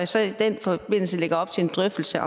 så i den forbindelse op til en drøftelse af